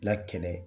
La kɛnɛ